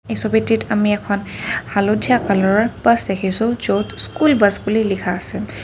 এই ছবিটিত আমি এখন হালধীয়া কালাৰৰ বাছ দেখিছোঁ য'ত স্কুল বাছ বুলি লিখা আছে।